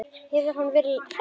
Hún hefur verið hress?